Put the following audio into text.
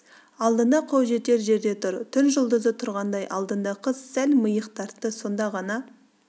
алдында қол жетер жерде тұр түн жұлдызы тұрғандай алдында қыз сәл миық тартты соңда ғана